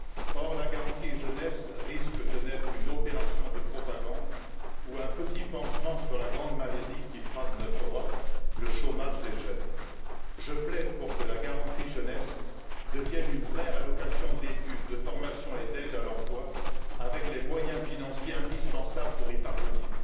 Or, la garantie jeunesse risque de n'être qu'une opération de propagande ou un petit pansement sur la grande maladie qui frappe notre Europe le chômage des jeunes. Je plaide pour que la garantie jeunesse devienne une vraie allocation d'études, de formation et d'aide à l'emploi, avec les moyens financiers indispensables pour y parvenir.